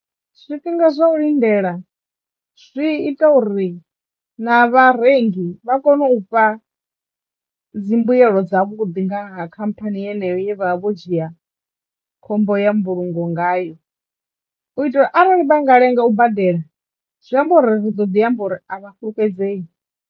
Zwifhinga zwa u lindela zwi ita uri na vharengi vha kono u fha dzimbuelo dza vhuḓi ngaha khamphani yeneyo ye vha vha vho dzhia khombo ya mbulungo ngayo u itela arali vha nga lenga u badela zwi amba uri ri ḓo ḓi amba uri a vha fhulufhedzei.